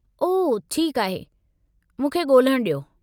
ओह, ठीकु आहे। मूंखे ॻोल्हणु ॾियो।